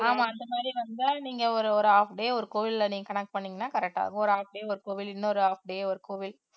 ஆமா அந்த மாதிரி வந்தா நீங்க ஒரு ஒரு half day ஒரு கோவில்ல நீங்க connect பண்ணீங்கன்னா correct ஆகும் ஒரு half ஒரு கோவில் இன்னொரு half day ஒரு கோவில்